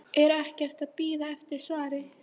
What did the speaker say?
Er ekkert að bíða eftir svari.